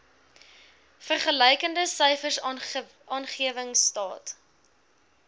vergelykende syfers aanwendingstaat